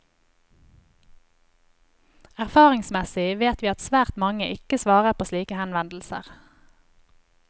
Erfaringsmessig vet vi at svært mange ikke svarer på slike henvendelser.